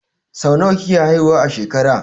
Zaki sai nawa yake haihuwa a shekara